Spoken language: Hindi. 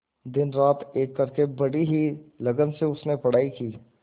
दिनरात एक करके बड़ी ही लगन से उसने पढ़ाई की